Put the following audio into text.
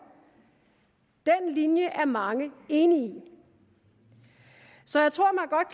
den linje er mange enige i så